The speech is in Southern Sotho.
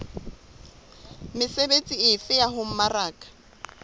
mesebetsi efe ya ho mmaraka